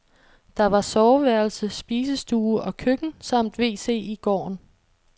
Der var soveværelse, spisestue og køkken samt wc i gården.